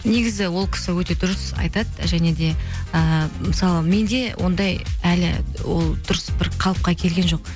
негізі ол кісі өте дұрыс айтады және де ііі мысалы менде ондай әлі ол дұрыс бір қалыпқа келген жоқ